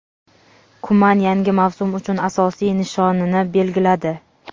Kuman yangi mavsum uchun asosiy "nishoni"ni belgiladi.